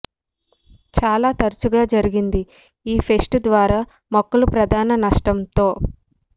చాలా తరచుగా జరిగింది ఈ పెస్ట్ ద్వారా మొక్కలు ప్రధాన నష్టం తో